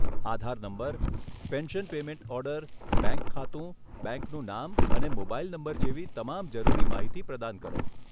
આધાર number, pension payment order, bank ખાતું, બેંકનું નામ અને મોબાઇલ નંબર જેવી તમામ જરૂરી માહિતી પ્રદાન કરો.